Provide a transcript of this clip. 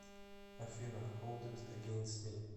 афина холд ит эгейнст ми